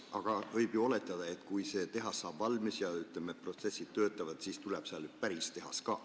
Aga võib ju oletada, et kui tehas saab valmis ja seal protsessid n-ö töötavad, siis tuleb sinna päris tehas ka.